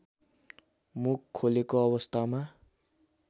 मुख खोलेको अवस्थामा